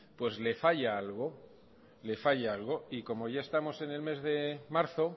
le falla algo y como ya estamos en el mes de marzo